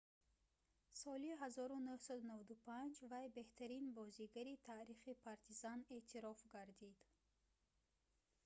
соли 1995 вай беҳтарин бозигари таърихи партизан эътироф гардид